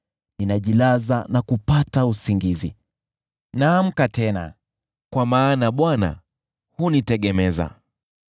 Ninajilaza na kupata usingizi; naamka tena, kwa maana Bwana hunitegemeza.